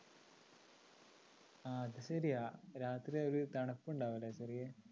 ആ അതു ശരിയാ രാത്രി ഒരു തണുപ്പുണ്ടാവൂല്ലേ ചെറിയ